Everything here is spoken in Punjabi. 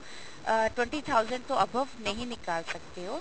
ਅਹ twenty thousand ਤੋਂ above ਨਹੀਂ ਨਿਕਾਲ ਸਕਦੇ ਹੋ